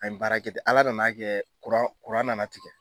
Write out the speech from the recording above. An ye baara kɛ ten, ala nana kɛ kuran nana tigɛ.